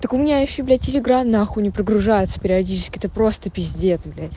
так у меня ещё блядь телеграм нахуй не прогружается периодически это просто пиздец блядь